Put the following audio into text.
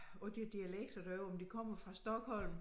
På de dialekter derovre om de kommer fra Stockholm